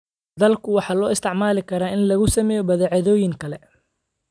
Dalagga waxaa loo isticmaali karaa in lagu sameeyo badeecooyin kale.